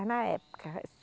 na época.